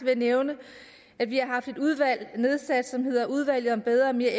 jeg nævne at vi har haft nedsat et udvalg som hedder udvalget om bedre og mere